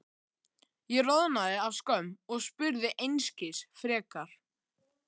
Ég roðnaði af skömm og spurði einskis frekar.